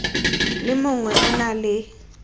le mongwe o na le